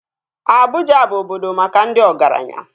Abuja bụ obodo maka ndị ọgaranya